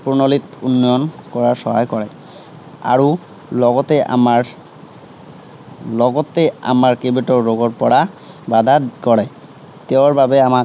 প্ৰণালীত উন্নয়ন কৰাত সহায় কৰে। আৰু লগতে আমাৰ লগতে আমাৰ কেইবাটাও ৰোগৰ পৰা বাধা কৰে। তেওঁ বাবে আমাৰ